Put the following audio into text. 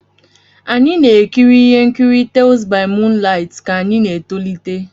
Anyị na-ekiri ihe nkiri "Tales by moonlight" ka anyị na-etolite.